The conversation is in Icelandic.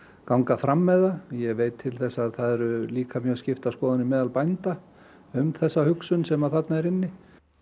ganga fram með það ég veit til þess að það eru líka mjög skiptar skoðanir á meðal bænda um þessa hugsun sem þarna er inni